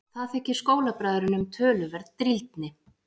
Það þykir skólabræðrunum töluverð drýldni.